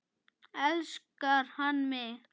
Elskar hann mig?